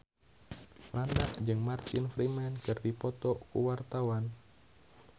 Franda jeung Martin Freeman keur dipoto ku wartawan